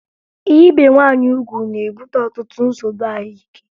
Ibe nwaanyị ugwu na-ebute ọtụtụ nsogbu ahụike